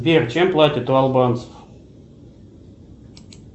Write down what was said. сбер чем платят у албанцев